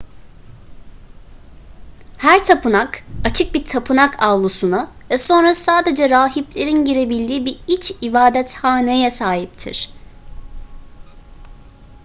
her tapınak açık bir tapınak avlusuna ve sonra sadece rahiplerin girebildiği bir iç ibadethaneye sahiptir